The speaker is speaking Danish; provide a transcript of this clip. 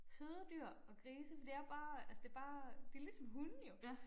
Søde dyr og grise for det er jo bare altså det bare det ligesom hunde jo